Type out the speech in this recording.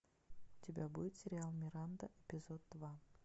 у тебя будет сериал миранда эпизод два